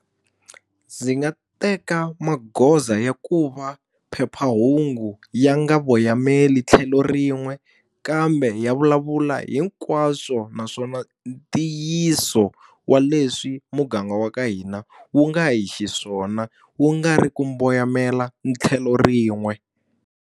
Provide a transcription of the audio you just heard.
Ndzi nga teka magoza ya ku va phephahungu ya nga voyameli tlhelo rin'we, kambe ya vulavula hinkwaswo naswona ntiyiso wa leswi muganga wa ka hina wu nga hi xiswona, wu nga ri ku voyamela tlhelo rin'we.